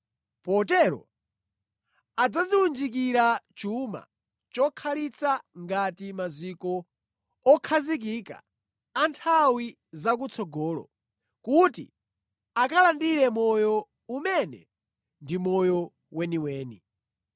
Potero adzadziwunjikira chuma chokhalitsa ngati maziko okhazikika a nthawi zakutsogolo, kuti akalandire moyo, umene ndi moyo weniweni.